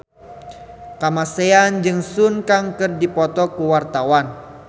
Kamasean jeung Sun Kang keur dipoto ku wartawan